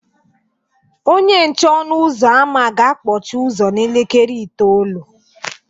Onye nche ọnụ ụzọ ámá ga-akpọchi ụzọ n'elekere itoolu